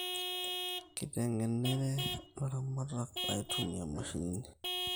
Keitengenere ilaramatak aitumia imashinini